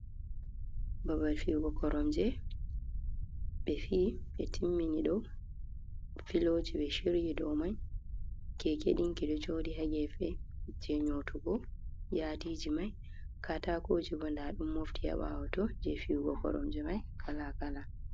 Babal fihugo koromje, be fi be timmini ɗom, filoji be shiryi ɗow mai. Keke ɗinki ɗo joɗi ha gefe je nyotugo yatiji mai. Katakoji bo nɗa ɗum mofti ha bawa to je fi’ugo koromje mai kala kala.